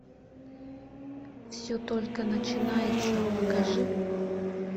все только начинается покажи